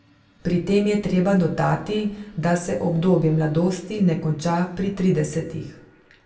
Pri tem je treba dodati, da se obdobje mladosti ne konča pri tridesetih.